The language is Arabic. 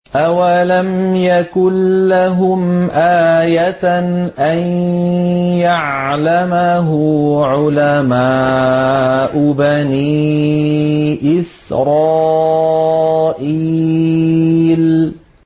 أَوَلَمْ يَكُن لَّهُمْ آيَةً أَن يَعْلَمَهُ عُلَمَاءُ بَنِي إِسْرَائِيلَ